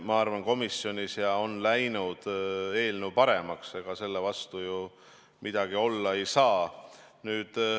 Ma arvan, et kui komisjonis on läinud eelnõu paremaks, siis ega selle vastu ju midagi olla ei saa.